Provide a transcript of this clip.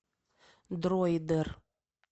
дроидер